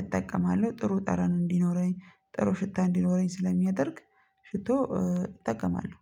እጠቀማለሁ። ጥሩ ጠረን እንዲኖረኝ፣ ጥሩ ሽታ እንዲኖረኝ ስለሚያደርግ ሽቶ እጠቀማለሁ።